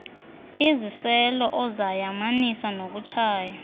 iziselo ozayamanisa nokutshaya